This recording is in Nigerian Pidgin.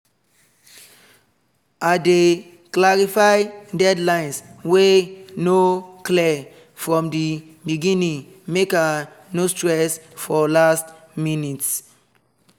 i dey clarify deadlines wey no clear from the beginning make i no stress for last minutes